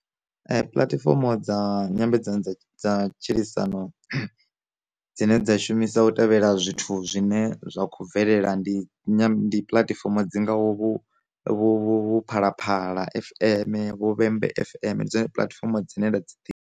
Puḽatifomo dza nyambedzano dza dza matshilisano dzine dza shumisa u tevhela zwithu zwine zwa khou bvelela, ndi puḽatifomo dzi ngau vho vho vho phalaphala fm, vho vhembe fm, ndi dzone puḽatifomo dzine nda dzi ḓivha.